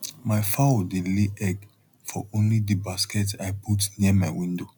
my fowl dey lay egg for only di basket i put near my window